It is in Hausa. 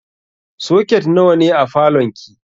Soket nawa ne a falon ki?